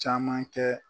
Caman kɛ